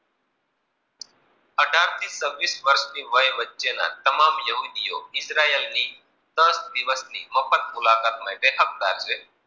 સાત છવીસ વર્ષ ના વચ્ચે માં તમામ યુવતીઓ ઇજરાયેલની દસ દિવસ મફત મુલાકાત બેઠકદર છે.